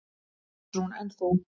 Ásrún: En þú?